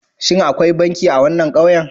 Shin akwai banki a wannan ƙauyen?